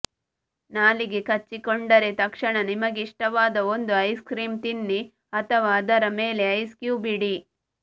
ನಾಲಿಗೆ ಕಚ್ಚಿಕೊಂಡರೆ ತಕ್ಷಣ ನಿಮಗಿಷ್ಟವಾದ ಒಂದು ಐಸ್ ಕ್ರೀಮ್ ತಿನ್ನಿ ಅಥವಾ ಅದರ ಮೇಲೆ ಐಸ್ ಕ್ಯೂಬ್ ಇಡಿ